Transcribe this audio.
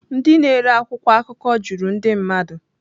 Ndị na-ere akwụkwọ akụkọ juru ndị mmadụ.